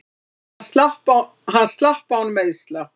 Hann slapp án meiðsla.